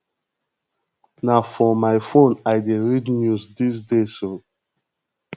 na for my phone i dey read news dese days o